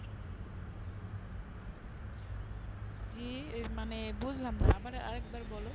জী মানে বুঝলাম না আবার এক বার বোলো